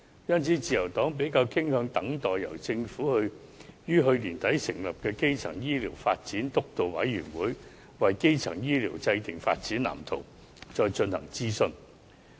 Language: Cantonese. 因此，自由黨比較傾向等待由政府於去年年底成立的基層醫療健康發展督導委員會，為基層醫療制訂發展藍圖，再進行諮詢。